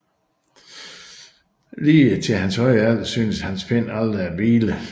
Lige til hans høje alder syntes hans pen aldrig at hvile